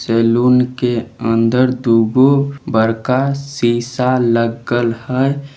Salon के अंदर एगो दू गो बड़का सीसा लगल हेय।